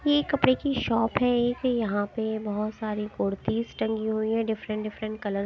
ये कपड़े की शॉप है एक यहाँ पे बहोत सारी कुर्तीस टंगी हुई है डिफरेंट डिफरेंट कलर --